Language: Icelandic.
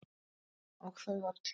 Og þau öll.